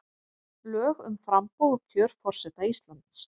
Lög um framboð og kjör forseta Íslands.